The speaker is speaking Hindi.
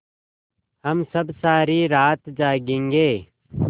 हम सब सारी रात जागेंगे